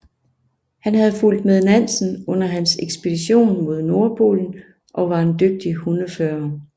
Han havde fulgt med Nansen under hans ekspedition mod Nordpolen og var en dygtig hundefører